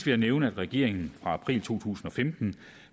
jeg nævne at regeringen fra april to tusind og femten